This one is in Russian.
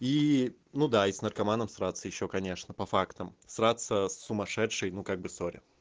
и ну да и с наркоманом сраться ещё конечно по фактам сраться с сумасшедшей ну как бы сорри